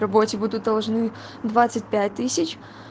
работе будут должны двадцать пять тысяч